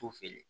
T'u feere